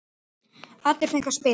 Allir fengu að spila.